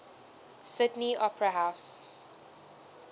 sydney opera house